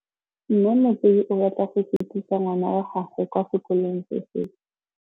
Mme Motsei o batla go sutisa ngwana wa gagwe kwa sekolong se sengwe.